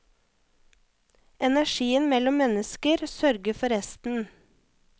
Energien mellom mennesker sørger for resten.